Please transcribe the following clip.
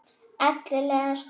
Ellegar Snorri?